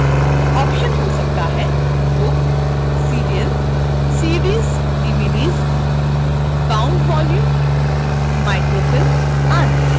options हो सकते हैंbook serial cds/dvds bound volume microfilm आदि